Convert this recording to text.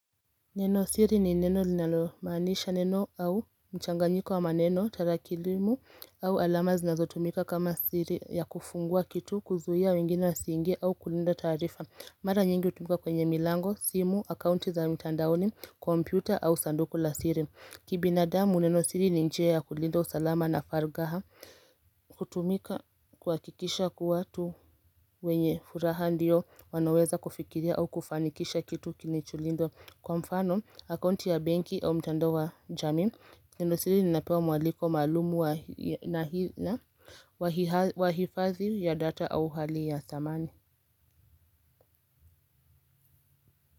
Neno siri ni neno linalomanisha neno au mchanganyiko wa maneno, tarakilimu au alama zinazo tumika kama siri ya kufungua kitu kuzuhia wengine wa singe au kulinda taarifa. Mara nyingi utumika kwenye milango, simu, akaunti za mtandaoni, kompyuta au sanduku la siri. Kibinadamu neno siri ni njia ya kulinda usalama na fargaha, kutumika kwa kikisha ku watu wenye furaha ndio wanaweza kufikiria au kufanikisha kitu kilicholindwa. Kwa mfano, aauonti ya benki au mtando wa jamii Neno siri ninapewa mwaliko maalumu wa hifadhi ya data au hali ya samani.